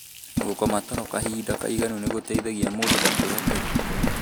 Gũkoma toro kahinda kaĩganu nĩ gũteithagia mũndũ ndakũre tene.